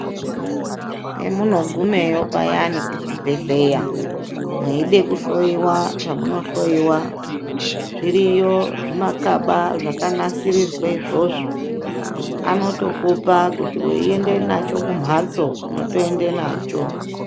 Paminogumeyo payani kuchibhedhleya mweide kuhloiwa zvamunohloiwa. Zviriyo zvimakaba zvakanasirirwe izvozvo, anotokupa kuti uiende nacho kumhatso unotoende nacho.